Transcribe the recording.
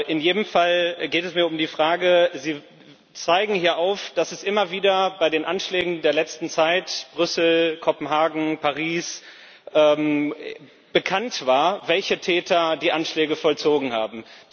In jedem Fall geht es mir um die Frage Sie zeigen hier auf, dass es immer wieder bei den Anschlägen der letzten Zeit Brüssel, Kopenhagen, Paris bekannt war, welche Täter die Anschläge vollzogen haben.